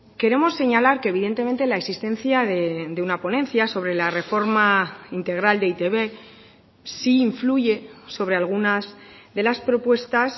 queremos señalar que evidentemente la existencia de una ponencia sobre la reforma integral de e i te be sí influye sobre algunas de las propuestas